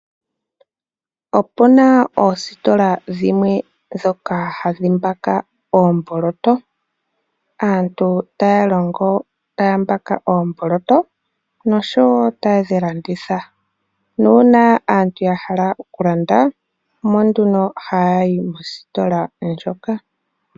Opu na oositola ndhoka hadhi mbaka oomboloto moka aantu haye dhi mbaka nokudhilathitha nuuna aantu ya hala okulanda omo haya yi mositola moka.